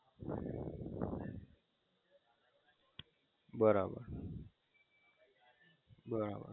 બરાબર